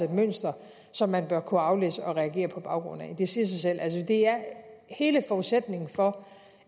et mønster som man bør kunne aflæse og reagere på baggrund af det siger sig selv hele forudsætningen for